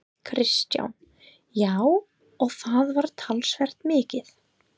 Kristján: Já, og það var talsvert mikið?